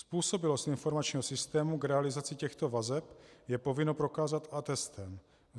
Způsobilost informačního systému k realizaci těchto vazeb je povinno prokázat atestem.